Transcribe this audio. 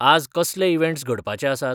आज कसले इवँट्स घडपाचे आसात?